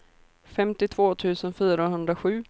femtiotvå tusen fyrahundrasju